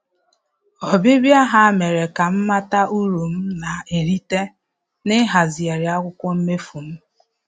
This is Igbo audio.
Ọbịbịa ha mere ka m mata uru m na-erita na-ịhazigharị akwụkwọ mmefu m